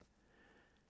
Fra 15 år.